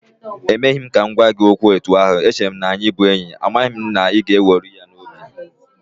E meghị m ka m gwa gị okwu etu ahụ, eche m na-anyị bụ enyi, amaghị m na ị ga-eweru ya n'obi